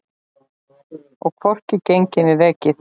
Og hvorki gengið né rekið.